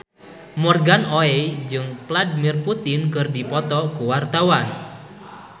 Morgan Oey jeung Vladimir Putin keur dipoto ku wartawan